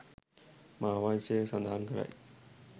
මහාවංශය සඳහන් කරයි.